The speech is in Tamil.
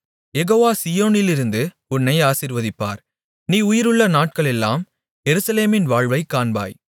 யெகோவா சீயோனிலிருந்து உன்னை ஆசீர்வதிப்பார் நீ உயிருள்ள நாட்களெல்லாம் எருசலேமின் வாழ்வைக் காண்பாய்